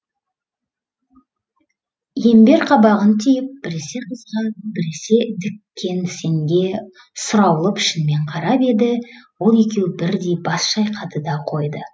имбер қабағын түйіп біресе қызға біресе диккенсенге сұраулы пішінмен қарап еді ол екеуі бірдей бас шайқады да қойды